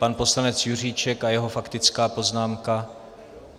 Pan poslanec Juříček a jeho faktická poznámka.